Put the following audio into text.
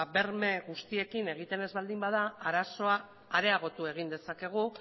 berme guztiekin egiten ez baldin bada arazoa areagotu egin dezakegu